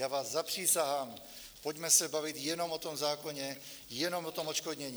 Já vás zapřísahám, pojďme se bavit jenom o tom zákoně, jenom o tom odškodnění.